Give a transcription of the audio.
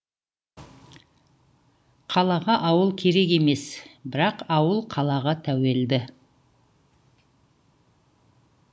қалаға ауыл керек емес бірақ ауыл қалаға тәуелді